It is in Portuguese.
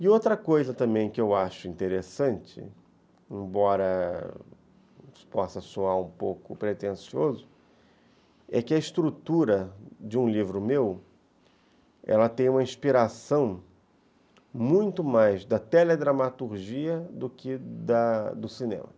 E outra coisa também que eu acho interessante, embora possa soar um pouco pretencioso, é que a estrutura de um livro meu tem uma inspiração muito mais da teledramaturgia do que da do cinema.